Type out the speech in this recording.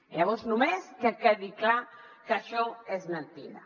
llavors només que quedi clar que això és mentida